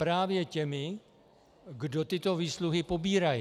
Právě těmi, kdo tyto výsluhy pobírají.